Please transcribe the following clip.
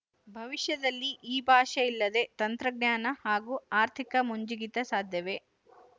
ಭವಿಶ್ಯದಲ್ಲಿ ಈ ಭಾಷೆಯಿಲ್ಲದೆ ತಂತ್ರಜ್ಞಾನ ಹಾಗು ಆರ್ಥಿಕ ಮುಂಜಿಗಿತ ಸಾಧ್ಯವೇ